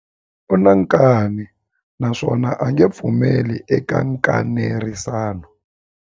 U na nkani naswona a nge pfumeli eka nkanerisano.